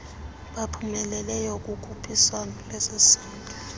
baphumeleleyo kukhuphiswano lwesisonke